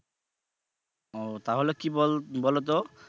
ও তাহলে কি বলো তো?